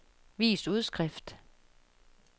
vis udskrift